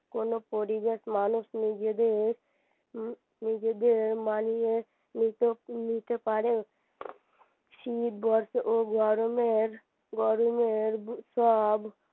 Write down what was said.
কোন পরিবেশ মানুষ নিজেদের উম নিজেদের মানিয়ে নিতে নিতে পারে শীত বর্ষা ও গরমের গরমের সব